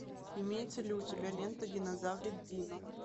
имеется ли у тебя лента динозаврик дино